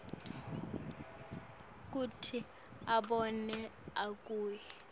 kute abone abuye